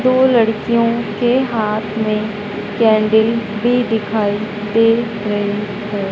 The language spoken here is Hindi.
दो लड़कियों के हाथ में कैंडल भी दिखाई दे रहे हैं।